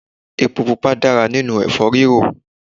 Epo pupa dára nínú èfó rírò